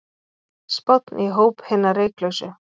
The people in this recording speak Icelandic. Spánn í hóp hinna reyklausu